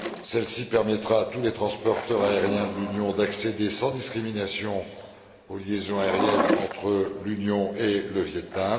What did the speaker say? Celle ci permettra à tous les transporteurs aériens de l'Union d'accéder sans discrimination aux liaisons aériennes entre l'Union et le Viêt Nam.